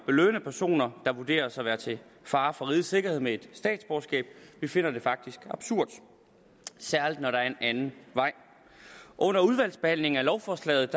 belønne personer der vurderes at være til fare for rigets sikkerhed med et statsborgerskab vi finder det faktisk absurd særlig når der er en anden vej under udvalgsbehandlingen af lovforslaget